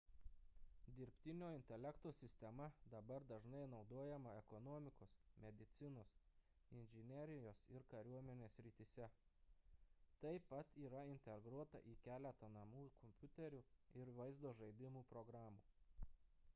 dirbtinio intelekto sistema dabar dažnai naudojama ekonomikos medicinos inžinerijos ir kariuomenės srityse taip pat yra integruota į keletą namų kompiuterių ir vaizdo žaidimų programų